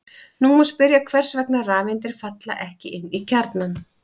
Nú má spyrja hvers vegna rafeindir falla ekki inn í kjarnann.